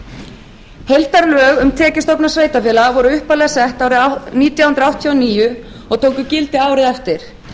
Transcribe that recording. heildarlög um tekjustofna sveitarfélaga voru upphaflega sett árið nítján hundruð áttatíu og níu og tóku gildi árið eftir